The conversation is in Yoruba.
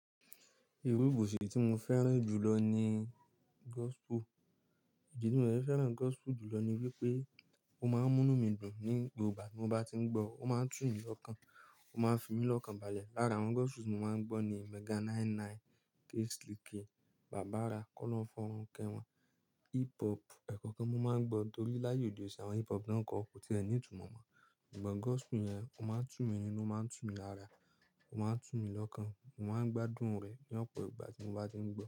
Iru ibòsì tí mo fẹ́ràn jùlọ ni gospel. Ìdí tí mo dẹ fẹ́ràn gospel jùlọ ni wípé ó má ń mú nu mí dùn ní gbogbo ìgbà tí mo bá tí ń gbọ́, ó má ń tù mí lọ́kàn, ó má ń fi mí lọ́kàn baya. Lára àwọn gospel tí mo má ń gbọ́ ni Mega 99, K-slique, Baba Ara, Kọ́lohun forun kewon. Hip hop, ẹ̀kọ́kan mo má ń gbọ́ torí láàyò òde òní, àwọn hip hop táà n kọ, kò tí e ní ìtumọ̀ mọ́. Sugbon gospel yẹn, ó má ń tù mí nínú, ó má ń tù mí lára, ó má ń tù mí lọ́kàn, mo má ń gbádùn rẹ̀ ní ọ̀pọ̀ ìgbà tí mo bá tí ń gbọ́.